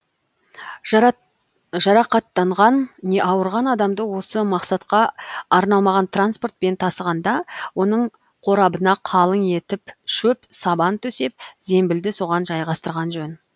жарақаттанған не ауырған адамды осы мақсатқа арналмаған транспортпен тасығанда оның қорабына қалың етіп шөп сабан төсеп зембілді соған жайғастырған жөн